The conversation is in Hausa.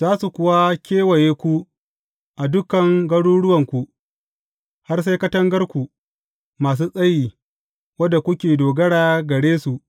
Za su kuwa kewaye ku a dukan garuruwanku, har sai katangarku masu tsayi wadda kuke dogara gare su,